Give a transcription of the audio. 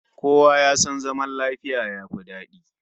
Kowa ya san zaman lafiya yafi dadi